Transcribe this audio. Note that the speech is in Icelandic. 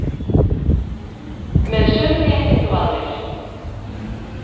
Með sömu réttindi og aðrir